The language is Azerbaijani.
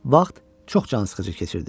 Vaxt çox cansıxıcı keçirdi.